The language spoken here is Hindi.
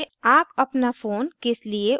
आप अपना फ़ोन किस लिए उपयोग करते हैं